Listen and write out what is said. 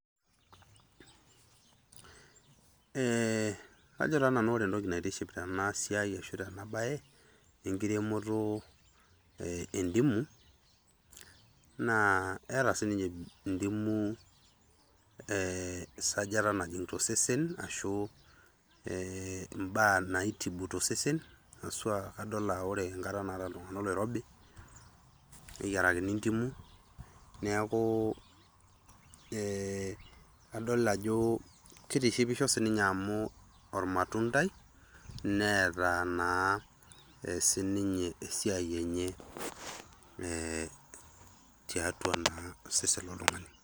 Eeh kajo taa nanu ore etoki naitishipisho tena siai ashu tena bae ekiremoto ee dimu, naa eeta si ninye dimu ee esajata najing to osesen ashu ibaa naitibu too sesen, pooki hasua adol ajo ore ekata naata iltungana oloirobi neyiarakini ndimu, neaku ee adol ajo kitishipisho si ninye amu, ormatundai neata naa si ninye esiai enye eeh tiatu na osesen loltungani.